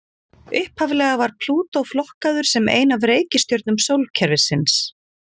Upphaflega var Plútó flokkaður sem ein af reikistjörnum sólkerfisins.